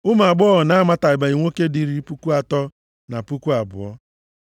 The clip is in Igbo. Ụmụ agbọghọ na-amatabeghị nwoke dị iri puku atọ na puku abụọ (32,000).